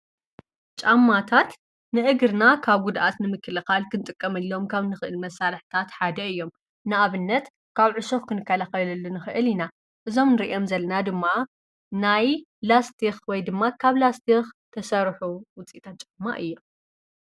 ጫማታት ንእግርና ካብ ጕድኣት ንምክልኻል ክንጥቀመሎም ካብ ንኽእል መሣርሕታት ሓደ እዮም ንኣብነት ካብ ዕሶፍ ክንከለኸብለሉ ንኽእል ኢና እዞም ርየም ዘለና ድማ ናይ ላስቲኽ ወይ ድማ ካብ ላስቲኽ ተሠርሑ ውፂጣት ጨማ እየም።